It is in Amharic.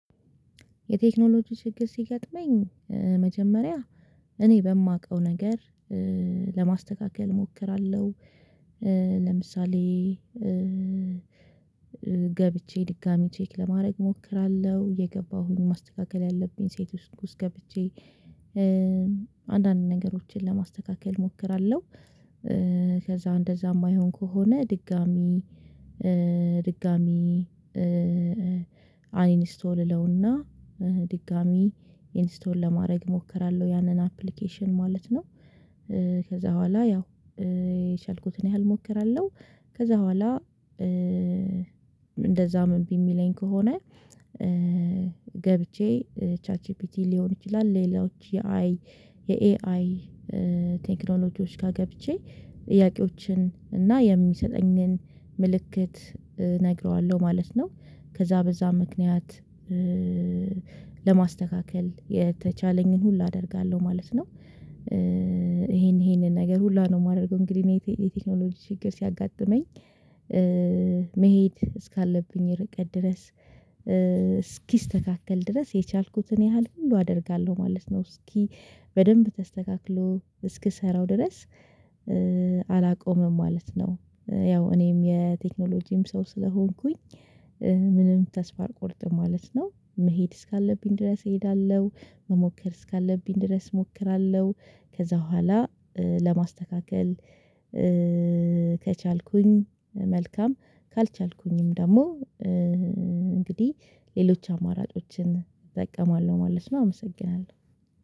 የቴክኖሎጂ ችግር ሲገጥመኝ መጀመሪያ እኔ በማውቀው ነገር ለማስተካከል እሞክራለሁ፤ ለምሳሌ ገብቼ ድጋሚ ቼክ ለማድረግ እሞክራለሁ፤ እየገባሁኝ ማስተካከል ያለብኝ ሴቲንግ ውስጥ ገብቼ ነገሮችን ለማስተካከል እሞክራለሁ፤ ከዛ እንደዛ የማይሆን ከሆነ ድጋሚ ድጋሚ አይን ስቶልለውና ድጋሚ ኢንስቶል ለማድረግ እሞክራለሁ ያንን አፕሊኬሽን ማለት ነው። ከዛ በኋላ ያው የቻልኩትን ያህል እሞክራለሁ ከዛ በኋላ እንደዛ ምን እምቢሚለኝ ከሆነ ገብቼ ቻት ጂፒቲ ሊሆን ይችላል ሌላዎች የአይ የኤአይ ቴክኖሎጂዎች ጋር ገብቼ ጥያቄዎችን እና የሚሰጠኝን ምልክት እነግረዋለሁ ማለት ነው፤ ከዛ በዛ ምክንያት ለማስተካከል የተቻለኝን ሁሉ አደርጋለሁ ማለት ነው፤ ይሄን ይሄንን ነገር ሁሉ ነው የማደርገው እንግዲህ እኔ የቴክኖሎጂ ችግር ሲያጋጥመኝ መሄድ እስካለብኝ ርቀት ድረስ፣ እስኪስተካከል ድረስ የቻልኩትን ያህል ሁሉ አደርጋለሁ ማለት ነው፤ እስኪ በደንብ ተስተካክሎ እስክሰራው ድረስ አላቆምም ማለት ነው። ያው እኔም የቴክኖሎጂም ሰው ስለሆንኩኝ ምንም ተስፋ አልቆርጥም ማለት ነው፤ መሄድ እስካለብኝ ድረስ እሄዳለሁ፤ መሞከር እስካለብኝ ድረስ እሞክራለሁ፤ ከዛ በኋላ ለማስተካከል ከቻልኩኝ መልካም ካልቻልኩኝም ደግሞ እንግዲህ ሌሎች አማራጮችን እጠቀማለሁ ማለት ነው አመሰግናለሁ።